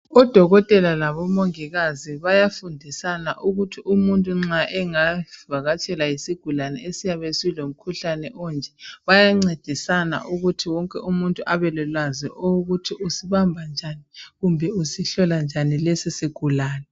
Odokotela labomongikazi bayafundisana ukuthi umuntu nxa engavakatshelwa yisigulane esiyabe silomkhuhlane onje bayancedisana ukuthi wonke umuntu abe lolowazi ukuthi usibhamba njani kumbe usihlola njani lesi sigulane.